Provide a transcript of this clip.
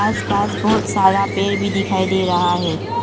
आसपास बहुत सारा पेड़ भी दिखाई दे रहा है।